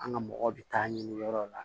An ka mɔgɔ bɛ taa ɲini yɔrɔ la